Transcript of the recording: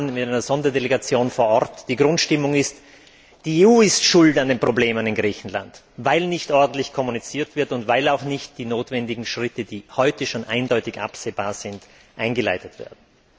Wir waren mit einer Sonderdelegation vor Ort Die Grundstimmung ist, dass die EU schuld ist an den Problemen in Griechenland weil nicht ordentlich kommuniziert wird und weil auch die notwendigen Schritte, die heute schon deutlich absehbar sind, nicht eingeleitet werden.